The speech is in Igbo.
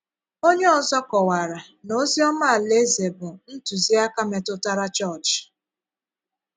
Onye ọzọ kọwara na ozi ọma Alaeze bụ “ ntụziaka metụtara chọọchị. ”.”